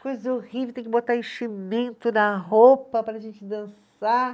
Coisa horrível, tem que botar enchimento na roupa para a gente dançar.